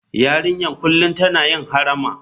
Yarinyar kullum tana yin harama.